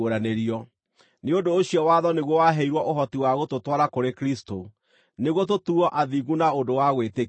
Nĩ ũndũ ũcio watho nĩguo waheirwo ũhoti wa gũtũtwara kũrĩ Kristũ, nĩguo tũtuuo athingu na ũndũ wa gwĩtĩkia.